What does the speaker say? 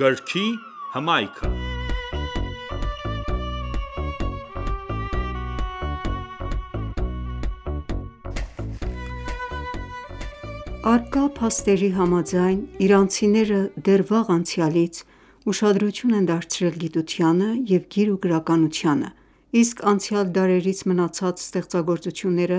Գրքի հմայքը (19) Առկա փաստերի համաձայն՝ իրանցիները դեռ վաղ անցյալից ուշադրություն են դարձրել գիտությանը և գիր ու գրականությանը, իսկ անցյալ դարերից մնացած ստեղծագործությունները